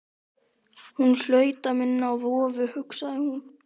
Hún hlaut að minna á vofu, hugsaði hún.